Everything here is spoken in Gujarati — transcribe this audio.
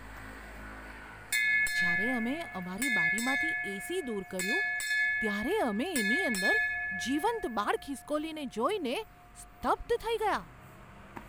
જ્યારે અમે અમારી બારીમાંથી એસી દૂર કર્યું, ત્યારે અમે તેની અંદર જીવંત બાળ ખિસકોલીને જોઈને સ્તબ્ધ થઈ ગયા.